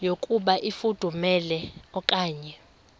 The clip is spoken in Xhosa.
yokuba ifudumele okanye